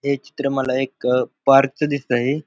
हे चित्र मला एक अ पार्क च दिसतय.